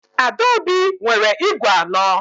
Adaobi nwere ígwè anọ.